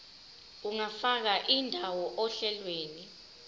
ungafaka indawo ohlelweni